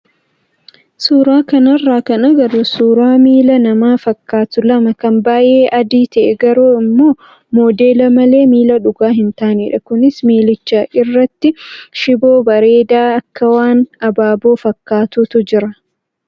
Suuraa kanarraa kan agarru suuraa miila namaa fakkaatu lama kan baay'ee adii ta'ee garuu immoo modeela malee miila dhugaa hin taanedha. Kunis miilicha irratti shiboo bareedaa akka waan abaaboo fakkaatuutu jira.